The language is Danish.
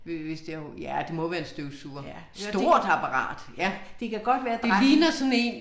Ja hør det. Det kan godt være dreng